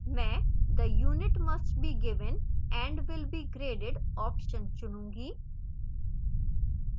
मैं the unit must be given and will be graded option चुनूंगी